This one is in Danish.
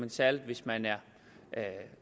særlig hvis man er